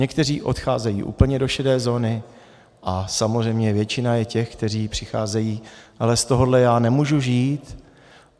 Někteří odcházejí úplně do šedé zóny a samozřejmě většina je těch, kteří přicházejí: ale z tohoto já nemůžu žít.